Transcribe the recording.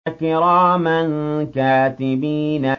كِرَامًا كَاتِبِينَ